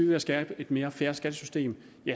ved skabe et mere fair skattesystem